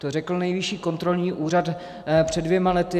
To řekl Nejvyšší kontrolní úřad před dvěma lety.